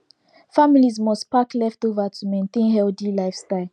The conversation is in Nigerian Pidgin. families must pack leftover to maintain healthy lifestyle